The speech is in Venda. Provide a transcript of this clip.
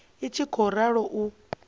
i tshi khou ralo u